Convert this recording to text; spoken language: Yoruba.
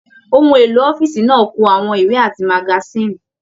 Òhun èlò ọ̀fiísí náà kú àwọn ìwé àti magasin.